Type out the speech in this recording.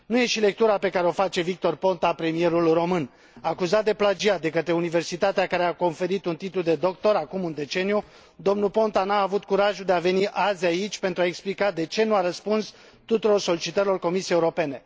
Nu e și lectura pe care o face Victor Ponta, premierul român. Acuzat de plagiat de către universitatea care i a conferit un titlu de doctor acum un deceniu, domnul Ponta nu a avut curajul de a veni azi aici pentru a explica de ce nu a răspuns tuturor solicitărilor Comisiei Europene.